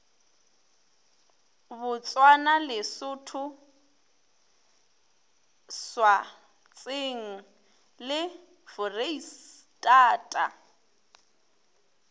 botswana lesotho swatseng le foreistata